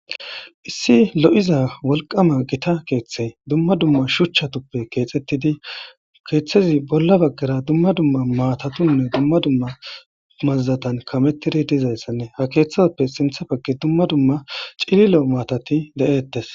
Issi lo7iza wolqama gita keeththe dumma dumma shuchchatuppe keexettidi keeththezi bolla baggara dumma dumma maatatunne dumma dumma mazzatan kamettidi dizayssanne ha keeththaappe sintha bagge dumma dumma cililo maatati de7eettes.